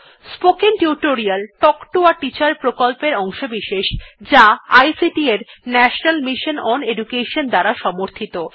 spoken tutorial talk to a teacher প্রকল্পের অংশবিশেষ যা আইসিটি এর ন্যাশনাল মিশন ওন এডুকেশন দ্বারা সমর্থিত